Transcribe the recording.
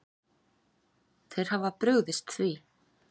Þeir hafa brugðist því.